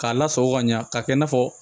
K'a lasago ka ɲa ka kɛ i n'a fɔ